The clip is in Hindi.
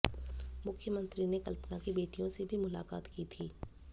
मुख्यमंत्री ने कल्पना की बेटियों से भी मुलाकात की थी